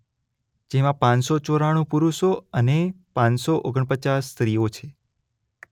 જેમાં પાંચ સો ચોરાણુ પુરુષો અને પાંચ સો ઓગણપચાસ સ્ત્રીઓ છે.